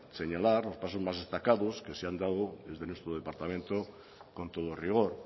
señalar los pasos más destacados que se han dado desde nuestro departamento con todo rigor